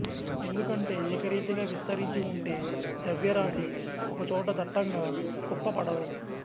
ఎందుకంటే ఏకరీతిగా విస్తరించి ఉంటే ద్రవ్యరాశి ఒకచోట దట్టంగా కుప్పపడదు